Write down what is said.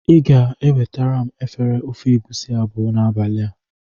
Ị ga-ewetara m efere ofe egusi abụọ n'abalị a.